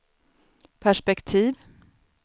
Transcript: perspektiv